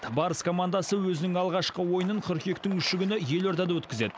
барыс командасы өзінің алғашқы ойынын қыркүйектің үші күні елордада өткізеді